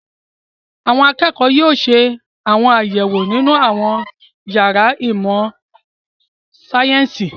Àwọn akẹ́kọ̀ọ́ yóò ṣe àwọn àyẹ̀wò nínú àwọn ìyàrá ìmọ̀-sáyẹ́ńsì.